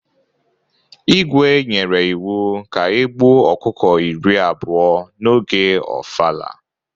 Igwe nyere iwu ka e gbuo ọkụkọ iri abụọ n'oge ofala!